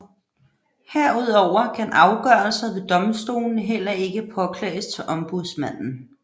Herudover kan afgørelser ved domstolene heller ikke påklages til ombudsmanden